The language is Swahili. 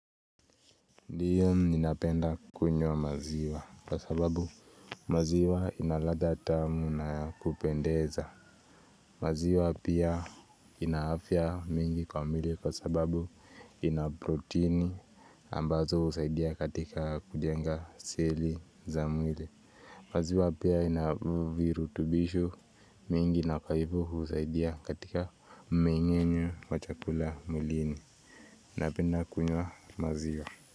Ndiyo ninapenda kunywa maziwa kwa sababu maziwa inaladha tamu na kupendeza maziwa pia inaafya mingi kwa mwili kwa sababu inaprotini ambazo husaidia katika kujenga seli za mwili maziwa pia inavirutubishu mingi na kwa hivo husaidia katika mmengenyo wa chakula mwilini Napenda kunywa maziwa.